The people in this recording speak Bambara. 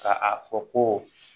Ka a fɔ ko